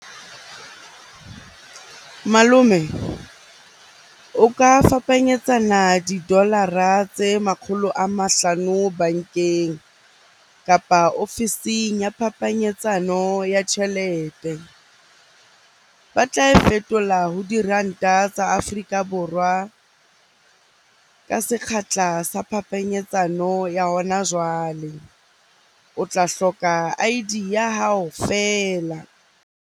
Malome o ka fapanyetsana di-dollar-ra tse makgolo a mahlano bankeng, kapa ofising ya phapanyetsano ya tjhelete. Ba tla e fetola ho diranta tsa Afrika Borwa ka sekgahla sa phapanyetsano ya hona jwale.O tla hloka I_D ya hao feela.